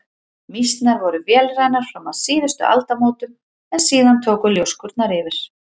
Mýsnar voru vélrænar fram að síðustu aldamótum en síðan tóku ljóskurnar yfir.